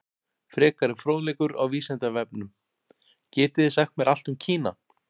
Frekari fróðleikur á Vísindavefnum: Getið þið sagt mér allt um Kína?